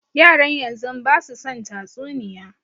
Yaran yanzun basu son tatsuniya